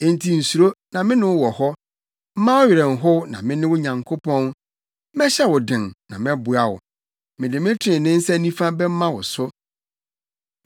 Enti nsuro, na mene wo wɔ hɔ; mma wo werɛ nhow, na mene wo Nyankopɔn. Mɛhyɛ wo den, na mɛboa wo; mede me trenee nsa nifa bɛma wo so.